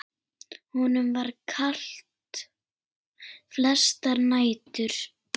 Honum var kalt flestar nætur.